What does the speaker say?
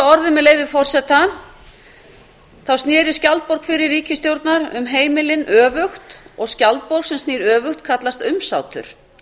orði með leyfi forseta þá snerist skjaldborg fyrri ríkisstjórnar um heimilin öfugt og skjaldborg sem snýr öfugt kallast umsátur